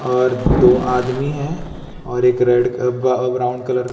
और दो आदमी है और एक रेड क ब ब्राउन कलर --